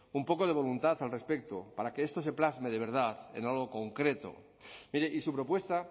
un poco de voluntad al respecto para que esto se plasme de verdad en algo concreto mire y su propuesta